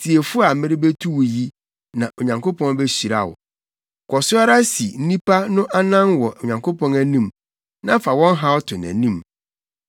Tie fo a merebetu wo yi na Onyankopɔn behyira wo. Kɔ so ara si nnipa no anan wɔ Onyankopɔn anim na fa wɔn haw to nʼanim.